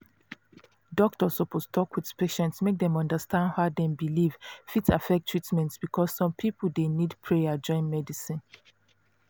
doctor suppose talk with patient make dem understand how dem belief fit affect treatment because some people dey need prayer join medicine